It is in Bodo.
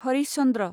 हरिश चन्द्र